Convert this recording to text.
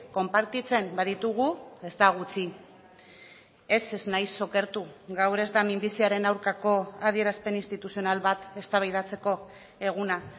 konpartitzen baditugu ez da gutxi ez ez naiz okertu gaur ez da minbiziaren aurkako adierazpen instituzional bat eztabaidatzeko eguna